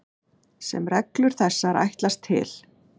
sem reglur þessar ætlast til.